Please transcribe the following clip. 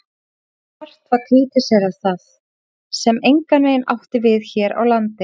Hart var krítiserað það, sem engan veginn átti við hér á landi.